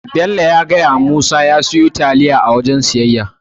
Bello ya fadawa Musa ya siyo taliya a wajen siyayya.